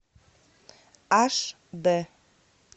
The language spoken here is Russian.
аш д